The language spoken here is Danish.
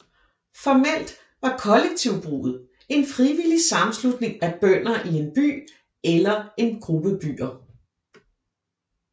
Formelt var kollektivbruget en frivillig sammenslutning af bønder i en by eller en gruppe byer